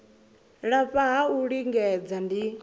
lafha ha u lingedza ndi